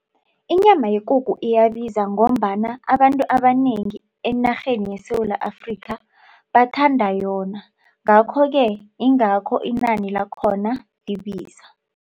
Inyama yekukhu iyabiza ngombana abantu abanengi enarheni yeSewula Afrika bathanda yona. Ngakho-ke ingakho inani lakhona libiza.